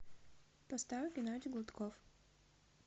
поставь геннадий гладков